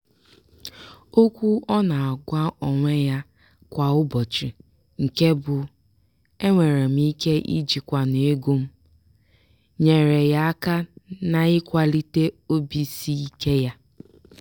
okwu ọ na-agwa onwe ya kwa ụbọchị nke bụ "enwere m ike ijikwanwu ego m" nyeere ya aka n'ịkwalite obisiike ya.